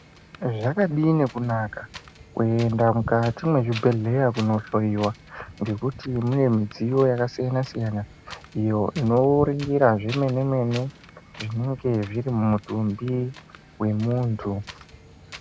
Zvakadini kunaka kuenda mukati mwezvibhedhleya kunohloyiwa ngekuti mune mudziyo yakasiyana siyana iyo inooringira zvemene mene zvinenge zviri mudumbi wemuntu.